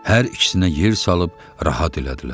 Hər ikisinə yer salıb rahat elədilər.